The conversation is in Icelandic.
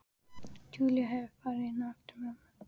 Júlía hefur farið inn á eftir mömmu.